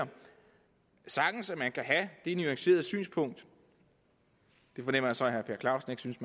sagtens at man kan have det nuancerede synspunkt det fornemmer jeg så at herre per clausen ikke synes